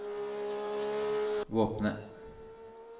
våpenet